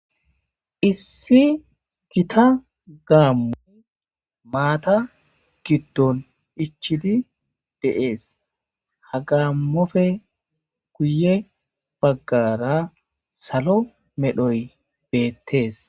Issi gita gaammo maata giddon ichidi de'ees hagamofe kuye baggara salo medhoy beettees